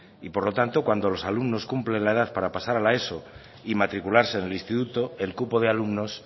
y por lo tanto cuando los alumnos cumplen la edad para pasar a la eso y matricularse en el instituto el cupo de alumnos